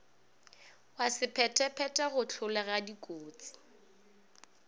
wa sephethephethe go hlolega dikotsi